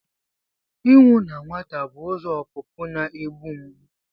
Ịnwụ na nwata bụ ụzọ ọpụpụ na-egbu mgbu.